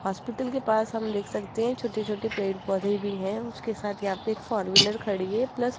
hospital के पास हम देख सकते हैं छोटे-छोटे पेड़-पौधे भी हैं उसके साथ यहां पे एक फोर व्हीलर खड़ी है प्लस --